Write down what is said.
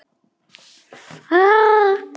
Hvar býr hún?